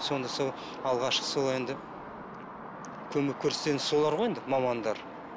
сонда сол алғашқы сол енді көмек көрсететін солар ғой енді мамандар